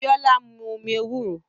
Biola ń mu omi ewúro